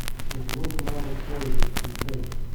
сбрось маму с поезда включай